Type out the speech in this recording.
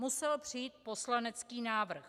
Musel přijít poslanecký návrh.